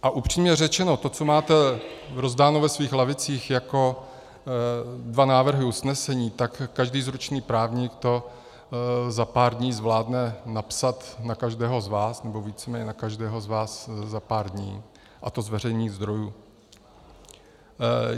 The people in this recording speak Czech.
A upřímně řečeno to, co máte rozdáno ve svých lavicích jako dva návrhy usnesení, tak každý zručný právník to za pár dní zvládne napsat na každého z vás, nebo víceméně na každého z vás za pár dní, a to z veřejných zdrojů.